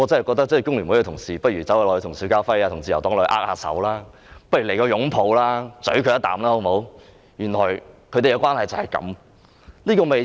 工聯會的同事不如跟邵家輝議員和自由黨握握手，來個互相擁抱親吻，原來他們的關係就是這樣。